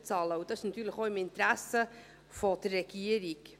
Dies ist natürlich auch im Interesse der Regierung.